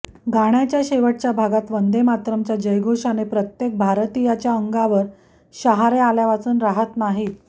गाण्याच्या शेवटच्या भागात वंदे मातरमच्या जयघोषाने प्रत्येक भारतीयाच्या अंगावर शहारे आल्यावाचून राहत नाहीत